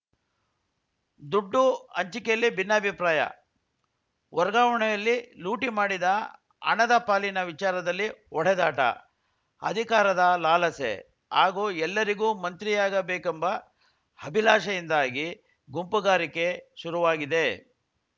ದುಡ್ಡು ಅಂಚಿಕೆಯಲ್ಲಿ ಭಿನ್ನಾಭಿಪ್ರಾಯ ವರ್ಗಾವಣೆಯಲ್ಲಿ ಲೂಟಿ ಮಾಡಿದ ಹಣದ ಪಾಲಿನ ವಿಚಾರದಲ್ಲಿ ಹೊಡೆದಾಟ ಅಧಿಕಾರದ ಲಾಲಸೆ ಹಾಗೂ ಎಲ್ಲರಿಗೂ ಮಂತ್ರಿಯಾಗಬೇಕೆಂಬ ಹಭಿಲಾಷೆಯಿಂದಾಗಿ ಗುಂಪುಗಾರಿಕೆ ಶುರುವಾಗಿದೆ